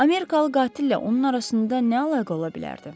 Amerikalı qatillə onun arasında nə əlaqə ola bilərdi?